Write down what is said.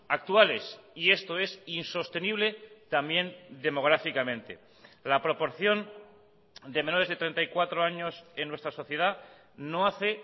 actuales y esto es insostenible también demográficamente la proporción de menores de treinta y cuatro años en nuestra sociedad no hace